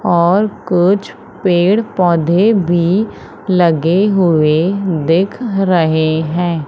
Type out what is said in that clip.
और कुछ पेड़ पौधे भी लगे हुए दिख रहे हैं।